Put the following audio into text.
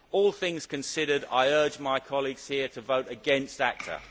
All things considered, I urge my colleagues here to vote against ACTA.